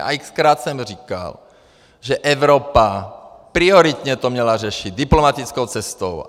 A x-krát jsem říkal, že Evropa prioritně to měla řešit diplomatickou cestou.